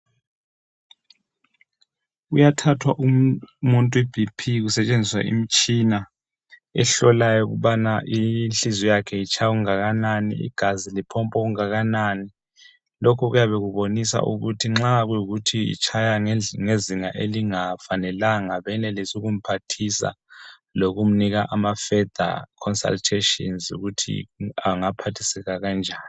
Kuyathathwa umuntu ibhiphi kusetshenziswa imitshina ehlolayo ukubana inhliziyo itshaya okunganani njalo legazi lipompa okunganani. Nxa itshaya ngezinga elingafanelanga benelise ukumphathisa lokumupha amacebo okuthi angasizakala kanjani.